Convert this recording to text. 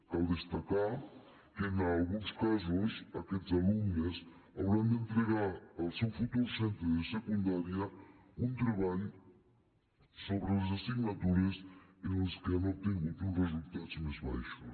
cal destacar que en alguns casos aquests alumnes hauran d’entregar al seu futur centre de secundària un treball sobre les assignatures en les quals han obtingut uns resultats més baixos